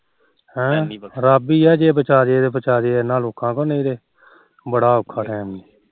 ਹਮ ਰੱਬ ਈ ਆ ਜ ਬਚਾ ਜੇ ਬਚਾ ਜੇ ਇਹਨਾ ਲੋਕਾ ਤੋ ਨਹੀ ਤੇ ਬੜਾ ਅੋਖਾ ਕੰਮ